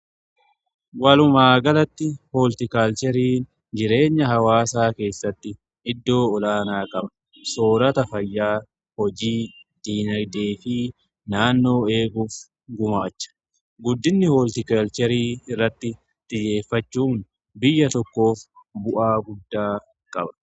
Walumaagalatti hooltikaalcheerii jireenya hawaasaa keessatti iddoo olaanaa qaba soorata fayyaa hojii diinadeefii naannoo eeguuf gumaacha guddinni hooltikalcheerii irratti xiyyeeffachuun biyya tokkoof bu'aa guddaa qaba.